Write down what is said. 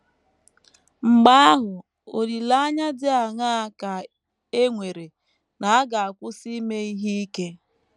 Mgbe ahụ, olileanya dị aṅaa ka e nwere na a ga - akwụsị ime ihe ike?